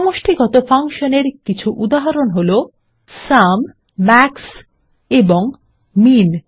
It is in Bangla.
সমষ্টিগত ফাংশন এর কিছু উদাহরণ সুম মাক্স এবং মিন